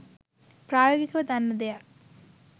ප්‍රායෝගිකව දන්න දෙයක්..